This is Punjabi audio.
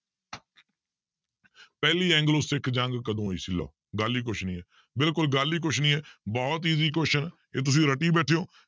ਪਹਿਲੀ ਐਂਗਲੋ ਸਿੱਖ ਜੰਗ ਕਦੋਂ ਹੋਈ ਸੀ ਲਓ ਗੱਲ ਹੀ ਕੁਛ ਨੀ ਹੈ ਬਿਲਕੁਲ ਗੱਲ ਹੀ ਕੁਛ ਨੀ ਹੈ ਬਹੁਤ easy question ਹੈ ਇਹ ਤੁਸੀਂ ਰੱਟੀ ਬੈਠੇ ਹੋ